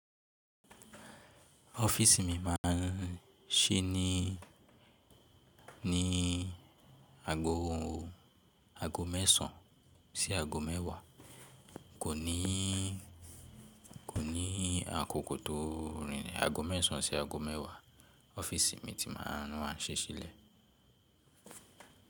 Ọ́fíìsì mi máa ń ṣí ní, ní aago mẹ́sàn án sí ago mẹ́wàá. Kò ní, kò ní àkókò tó rin ní aago mẹ́sàn án sí aago mẹ́wàá, ọ́fíìsì mi ti máa ńwa nṣí sílẹ̀